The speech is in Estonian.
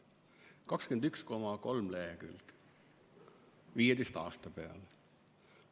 21,3 lehekülge 15 aasta peale.